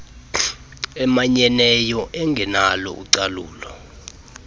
emanyeneyo engenalo ucalulo